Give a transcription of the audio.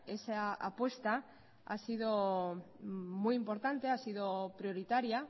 esa apuesta ha sido muy importante ha sido prioritaria